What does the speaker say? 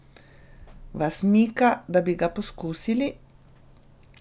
Vas mika, da bi ga poskusili?